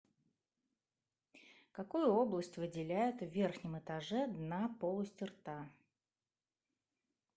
какую область выделяют в верхнем этаже дна полости рта